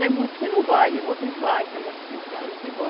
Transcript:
Tem muitos que não vai, outros vai, tem muitos aí que vão.